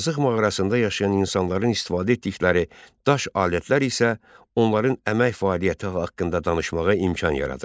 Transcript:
Azıq mağarasında yaşayan insanların istifadə etdikləri daş alətlər isə onların əmək fəaliyyəti haqqında danışmağa imkan yaradırdı.